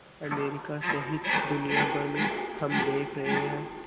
America सहित दुनिया भर में हम देख रहे हैं